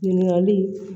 Ɲininkali